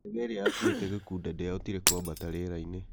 ndege ĩrĩa yaakuĩte Gikunda ndĩahotire kwambata rĩera-inĩ